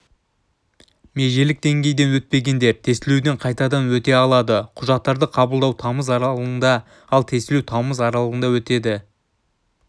межелік деңгейден өтпегендер тестілеуден қайтадан өте алады құжаттарды қабылдау тамыз аралығында ал тестілеу тамыз аралығында өтеді